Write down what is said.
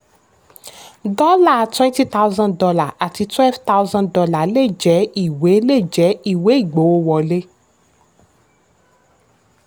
dọ́là wenty thousand dollar àti twelve thusand dollar le jẹ́ ìwé le jẹ́ ìwé ìgbówó wọlé.